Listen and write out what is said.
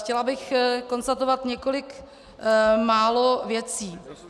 Chtěla bych konstatovat několik málo věcí.